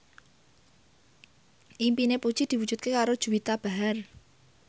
impine Puji diwujudke karo Juwita Bahar